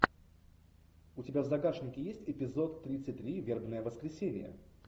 у тебя в загашнике есть эпизод тридцать три вербное воскресенье